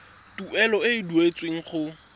tuelo e e duetsweng go